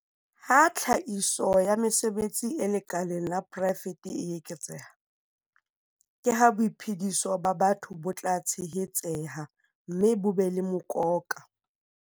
Ha tlhahiso ya mesebetsi e lekaleng la poraefete e eketseha, ke ha boiphediso ba batho bo tla tshehetseha mme bo be le mokoka.